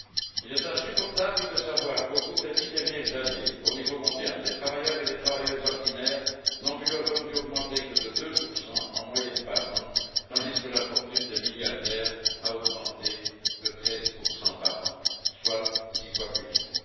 Il est insupportable de constater qu'au cours des dix dernières années, au niveau mondial, les travailleuses et les travailleurs ordinaires n'ont vu leur revenu augmenter que de 2 par an en moyenne, tandis que la fortune des milliardaires a augmenté de 13 par an, soit six fois plus vite.